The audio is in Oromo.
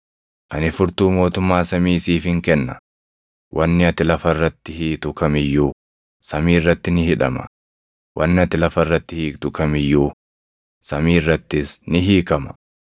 Ani furtuu mootummaa samii siifin kenna; wanni ati lafa irratti hiitu kam iyyuu samii irratti ni hidhama; wanni ati lafa irratti hiiktu kam iyyuu samii irrattis ni hiikama.”